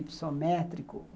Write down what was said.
Ipsométrico.